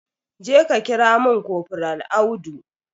Jeka kira mun kofral Audu